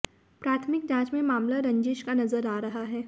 प्राथमिक जांच में मामला रंजिश का नजर आ रहा है